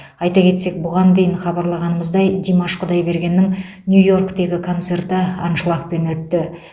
айта кетсек бұған дейін хабарлағанымыздай димаш құдайбергеннің нью йорктегі концерті аншлагпен өтті